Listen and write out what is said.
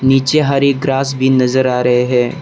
नीचे हरी ग्रास भी नजर आ रहे हैं।